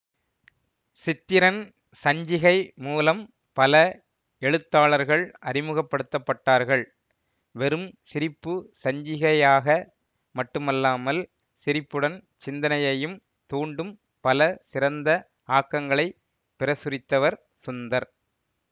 சித்திரன் சஞ்சிகை மூலம் பல எழுத்தாளர்கள் அறிமுகப்படுத்தப்பட்டார்கள் வெறும் சிரிப்பு சஞ்சிகையாக மட்டுமல்லாமல் சிரிப்புடன் சிந்தனையையும் தூண்டும் பல சிறந்த ஆக்கங்களை பிரசுரித்தவர் சுந்தர்